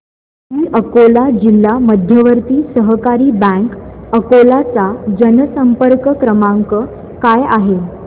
दि अकोला जिल्हा मध्यवर्ती सहकारी बँक अकोला चा जनसंपर्क क्रमांक काय आहे